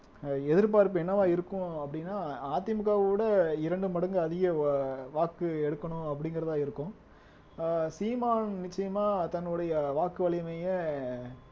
அஹ் எதிர்பார்ப்பு என்னவா இருக்கும் அப்படின்னா அதிமுகவோட இரண்டு மடங்கு அதிக வா வாக்கு எடுக்கணும் அப்படிங்கறதா இருக்கும் ஆஹ் சீமான் நிச்சயமா தன்னுடைய வாக்கு வலிமையை